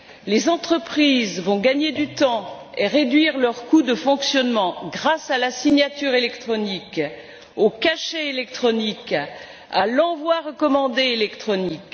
Les entreprises gagneront du temps et réduiront leurs coûts de fonctionnement grâce à la signature électronique, au cachet électronique, à l'envoi recommandé électronique.